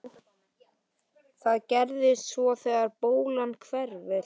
Hvað gerist svo þegar bólan hverfur?